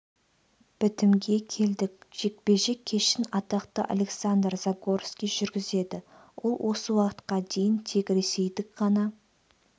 бітімге келдік жекпе-жек кешін атақты александр загорский жүргізеді ол осы уақытқа дейін тек ресейдік ғана